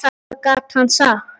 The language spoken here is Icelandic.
Hvað gat hann sagt?